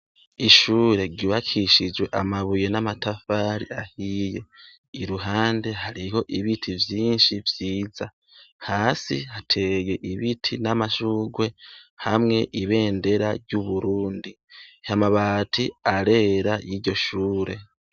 Ishure ryubakishijwe amabuye n’amatafari ahiye . Iruhande hariho ibiti vyinshi vyiza. Hasi hateye ibiti n’amashurwe ,hamwe ibendera ry’Uburundi, amabati, arera y’iryo shure.